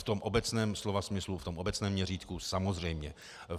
V tom obecném slova smyslu, v tom obecné měřítku, samozřejmě.